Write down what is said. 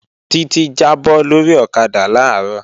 Títí jábọ́ lórí ọ̀kadà làárọ̀